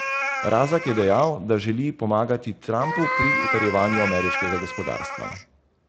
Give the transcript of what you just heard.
Razak je dejal, da želi pomagati Trumpu pri utrjevanju ameriškega gospodarstva.